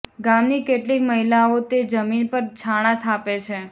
ગામની કેટલીક મહિલાઓ તે જમીન પર છાણાં થાપે છે